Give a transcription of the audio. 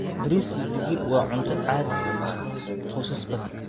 Bariis iyo digir waa cunto caadi u ah qoysas badan.